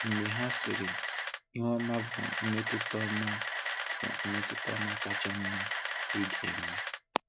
Mgbe ha sịrị, ‘Ihu ọma bụ mmetụta ọma bụ mmetụta kacha mma ị ga-enwe.’